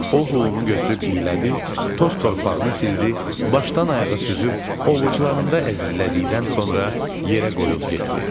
O Hulu götürüb iylədi, toz torpağını sildi, başdan ayağa süzüb ovucularında əzizlədikdən sonra yerə qoyub getdi.